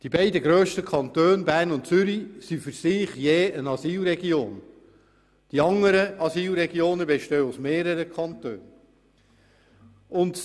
Die beiden grössten Kantone Bern und Zürich bilden für sich eine Asylregion, die anderen Asylregionen bestehen aus mehreren Kantonen.